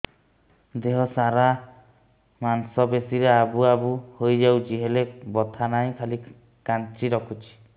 ଦେହ ସାରା ମାଂସ ପେଷି ରେ ଆବୁ ଆବୁ ହୋଇଯାଇଛି ହେଲେ ବଥା ନାହିଁ ଖାଲି କାଞ୍ଚି ରଖୁଛି